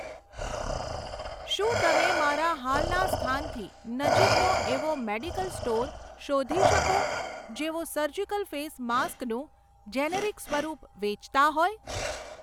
શું તમે મારા હાલના સ્થાનથી નજીકનો એવો મેડિકલ સ્ટોર શોધી શકો જેઓ સર્જિકલ ફેસ માસ્ક નું જેનેરિક સ્વરૂપ વેચતા હોય?